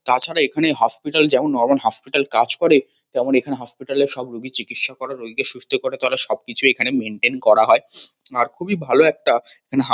তাছাড়া এখানে হসপিটাল যেমন নরমাল হসপিটাল কাজ করে তেমন এখানে হসপিটাল -এ সব রোগীকে চিকিৎসা করা রোগীকে সুস্থ করে তোলা সবকিছুই এখানে মেনটেইন করা হয়। আর খুবই ভালো একটা এখানে হা --